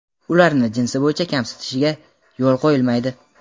ularni jinsi bo‘yicha kamsitishga yo‘l qo‘yilmaydi.